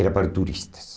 Era para turistas.